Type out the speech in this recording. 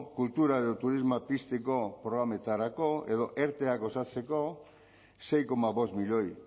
kultura edo turismoa pizteko programetarako edo erte osatzeko sei koma bost milioi